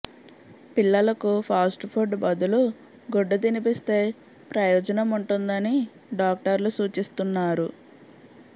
పిల్లలకు fast food బదులు గుడ్డు తినిపిస్తే ప్రయోజనం ఉంటుందని డాక్టర్లు సూచిస్తున్నారు